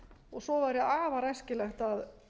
og svo væri afar æskilegt að